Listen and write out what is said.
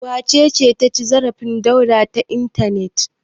Wace ce ta ci zarafin Dauda ta intanet?